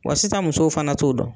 Wa sisan musow fana t'o dɔn.